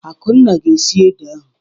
Akunna ga-esi ede ahu.